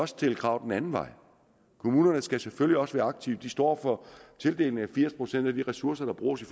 stille krav den anden vej kommunerne skal selvfølgelig også være aktive de står for tildelingen af firs procent af de ressourcer der bruges i